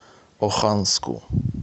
оханску